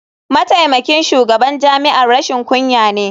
Mataimakin shugaban jami'ar rashin kunya ne.